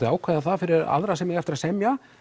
að ákveða það fyrir aðra sem eiga eftir að semja